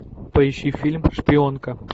поищи фильм шпионка